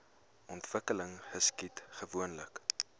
ontwikkeling geskied gewoonlik